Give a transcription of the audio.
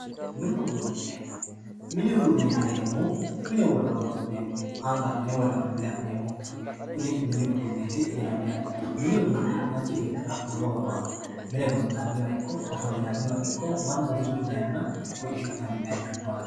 Mini uduune, mini uduuni yineemmohu mine wore horonsi'neemmoho anga adhine wolewa adhine ha'neemmokkiho kuni mini uduuneti yinanniha ,mini uduuni manchi beettira lowo horo aano, mine gonxanniwa ikko ofollinanniwa ikko mannu wosichu dayinna fooliishshishi'nanni .